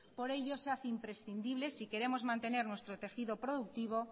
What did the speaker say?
por ello se hace imprescindible si queremos mantener nuestro tejido productivo